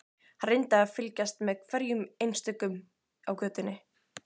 Hann reyndi að fylgjast með hverjum einstökum á götunni.